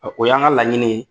O y'an ka laɲini